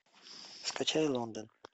скачай лондон